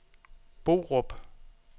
Borup